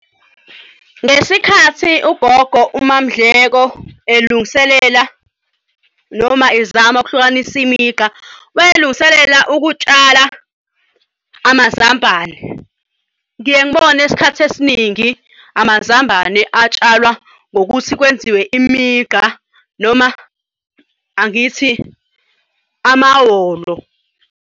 Ngesikhathi ugogo, uMaMdleko elungiselela noma ezama ukuhlukanisa imigqa wayelungiselela ukutshala amazambane. Ngiye ngibone isikhathi esiningi amazambane atshalwa ngokuthi kwenziwe imigqa noma angithi amahholo.